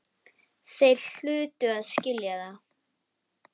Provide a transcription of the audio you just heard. Þeir hlutu að skilja það.